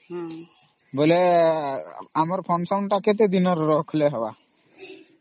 ବେଳେ ଆମର function ତା କେତେ ଦିନ ର ରଖିଲେ ହବ ?